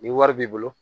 Ni wari b'i bolo